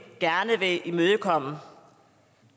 gerne vil imødekomme